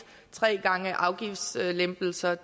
tre gange afgiftslempelser